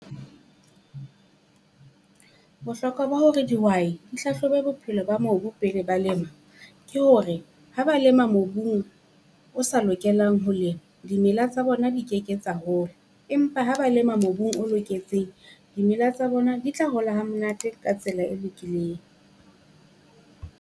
Bohlokwa ba hore dihwai di hlahlobe bophelo ba mobu pele ba lema, ke hore ha ba lema mobung o sa lokelang ho lema. Dimela tsa bona di keke tsa hola, empa ha ba lema mobung o loketseng. Dimela tsa bona di tla hola ha monate ka tsela e lokileng.